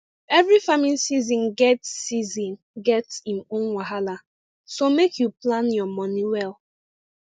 every farming season get season get im own wahala so make you plan your money well